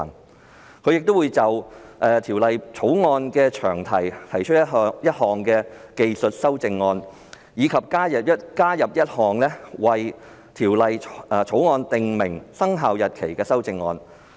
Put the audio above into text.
此外，他亦會就《條例草案》的詳題提出一項技術修正案，以及加入一項為《條例草案》訂明生效日期的修正案。